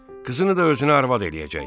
Qızını da özünə arvad eləyəcək.